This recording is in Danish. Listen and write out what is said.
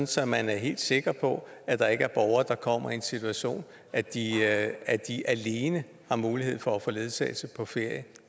så man er helt sikker på at der ikke er borgere der kommer i den situation at de alene har mulighed for at få ledsagelse på ferie